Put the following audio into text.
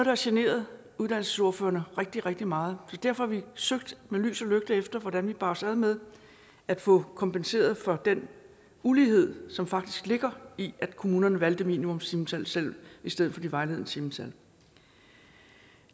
har generet uddannelsesordførerne rigtig rigtig meget så derfor har vi søgt med lys og lygte efter hvordan vi bar os ad med at få kompenseret for den ulighed som faktisk ligger i at kommunerne valgte minimumstimetallet selv i stedet for de vejledende timetal